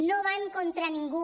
no van contra ningú